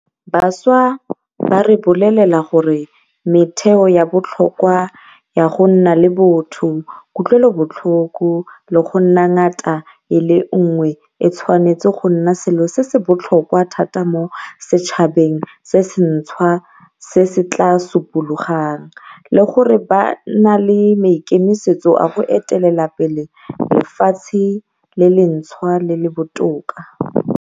Bašwa ba re bolelela gore metheo ya botlhokwa ya go nna le botho, kutlwelobotlhoko le go nna ngatana e le nngwe e tshwanetse go nna selo se se botlhokwa thata mo setšhabeng se sentšhwa se se tla supologang, le gore ba na le maikemisetso a go etelela pele lefatshe le lentšhwa le le botoka.